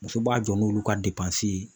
Muso b'a jɔ n'olu ka ye